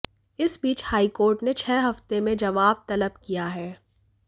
इस बीच हाईकोर्ट ने छह हफ्ते में जवाब तलब किया है